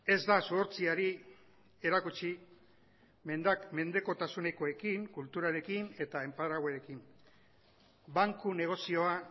ez da zuhurtziari erakutsi mendekotasunekoekin kulturarekin eta enparaguarekin banku negozia